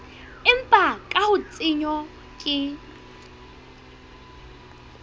empa ka ha tshenyo ke